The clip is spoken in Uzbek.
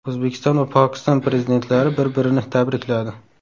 O‘zbekiston va Pokiston Prezidentlari bir-birini tabrikladi.